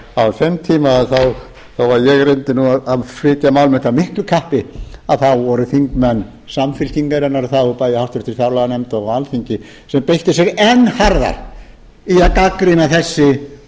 á þeim tíma þó ég reyndi nú að flytja mál mitt af miklu kappi þá voru þingmenn samfylkingarinnar það voru bæði í háttvirtri fjárlaganefnd og á alþingi sem beittu sér enn harðar í að gagnrýna þessi